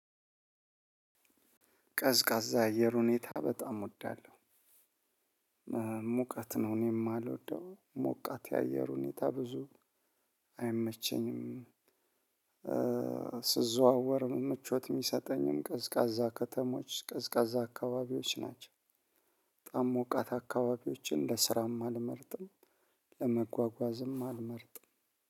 ቀዝቃዛ አየር ሁኔታ በጣም እወዳለሁ። ሙቀት ነው እኔም ማልወደው ሞቃት የአየር ሁኔታ ብዙ አይመቸኝም። ስዘዋወር ምቾት ሚሰጠኝም ቀዝቃዛ ከተሞች ቀዝቃዛ አካባቢዎች ናቸው። በጣም ሞቃት አካባቢዎችን ለስራም አልመርጥም። ለመጓጓዝም አልመርጥም